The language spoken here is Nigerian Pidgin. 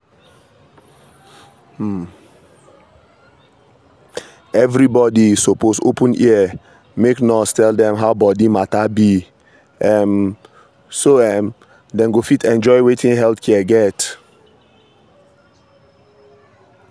everybody suppose open ear make nurse tell dem how body matter be um so um dem go fit enjoy wetin health care get.